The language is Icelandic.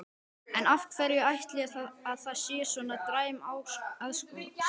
En af hverju ætli að það sé svona dræm aðsókn?